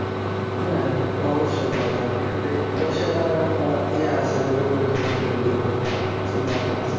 হ্যাঁ অবশ্যই করা যায় অবশ্য এটা আমার একটা ইয়ে আছে যে গরুর খামার করবো এরকম একটা চিন্তাভাবনা আছে